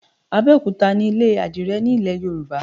Abẹ́òkúta nílé àdìrẹ nílẹ̀ Yorùbá.